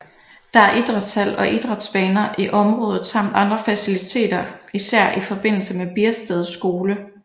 Der er idrætshal og idrætsbaner i området samt andre faciliteter især i forbindelse med Biersted Skole